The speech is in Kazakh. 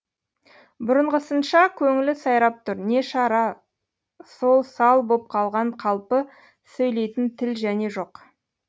бұрынғысынша көңілі сайрап тұр не шара сол сал боп қалған қалпы сөйлейтін тіл және жоқ